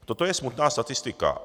Toto je smutná statistika.